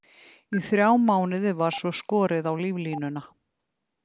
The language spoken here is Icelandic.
Í þrjá mánuði var svo skorið á líflínuna.